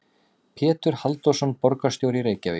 Pétur Halldórsson, borgarstjóri í Reykjavík.